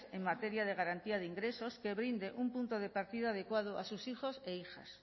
en materia de garantía de ingresos que brinde un punto de partida adecuado a sus hijos e hijas